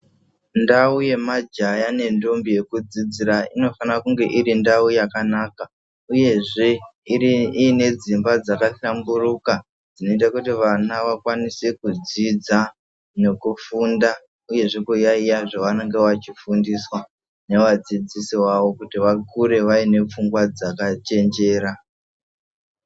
Ndau yemajaya nendombi yekudzidzira inofana kunge iri ndau yakanaka uyezve ine dzimba dzakahlamburuka. Zvinoita kuti vana vakwanise kudzidza nekufunda uyezve kuyaiya zvavanenge veifundiswa newadzidzisi wawo kuti vakure vane pfungwa dzakachenjera.